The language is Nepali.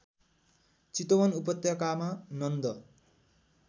चितवन उपत्यकामा नन्द